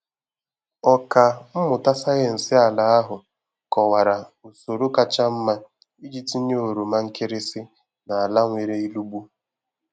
Ọka mmụta sayensị ala ahụ kọwara usoro kacha mma iji tinye oroma nkịrịsị na ala nwere ilugbu